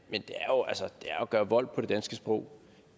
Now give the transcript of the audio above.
gøre vold på det danske sprog